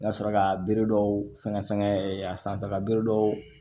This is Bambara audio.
N ka sɔrɔ ka bereduw sɛgɛn a sanfɛla bere dɔw